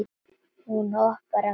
Hún hoppar af kæti.